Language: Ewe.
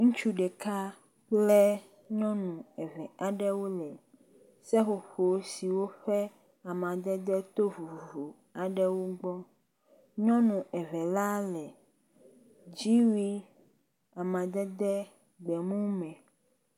Ŋutsu ɖeka kple nyɔnu eve aɖewo le seƒoƒo siwo ƒe amadede to vovovo aɖewo gbɔ nyɔnu eve la le dziwui amadede gbe mu me.